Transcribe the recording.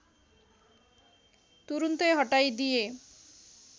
तुरून्तै हटाइदिए